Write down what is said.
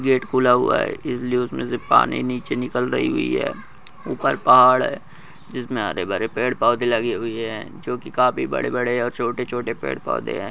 Gate खुला हुआ है इसलिए उसमे से पानी निचे निकल रही हुई है ऊपर पहाड़ है जिसमे हरे भरे पड़े पोधे लगे हुए हैं जो की काफी बड़े बड़े और छोटे छोटे पेड़ पोधे हैं ।